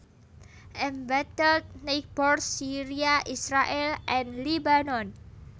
Embattled Neighbors Syria Israèl and Lebanon